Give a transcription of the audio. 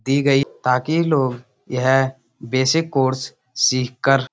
दी गयी बाकी लोग यह बेसिक कोर्स सीखकर --